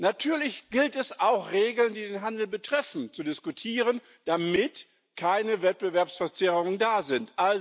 Natürlich gilt es, auch Regeln, die den Handel betreffen, zu diskutieren, damit keine Wettbewerbsverzerrungen da sind.